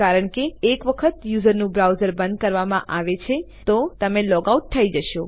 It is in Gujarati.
કારણ કે એક વખત યુઝરનું બ્રાઉઝર બંધ કરવામાં આવે છે તો તમે લૉગ આઉટ થયી જશો